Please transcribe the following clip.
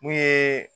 Mun ye